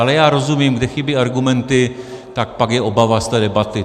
Ale já rozumím, kde chybí argumenty, tak pak je obava z té debaty.